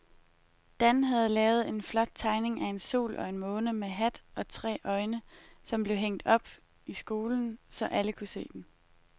Dan havde lavet en flot tegning af en sol og en måne med hat og tre øjne, som blev hængt op i skolen, så alle kunne se den.